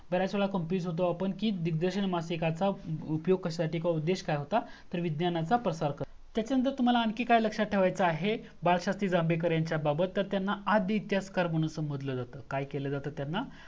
बर्‍याच वेळा आपण Confuse होतो की दिग्दर्शन माशिकचा उपयोग कश्यासाठी अथवा उद्देश काय होता तर विज्ञानाचा प्रसार. तर त्याच्या नंतर तुम्हाला आणखी काय लक्ष्यात ठेवायचा आहे बाळशास्त्री जांभेकर यांच्या बाबत तर त्यांना आदि इतिहासकार म्हणून संभोधल जातं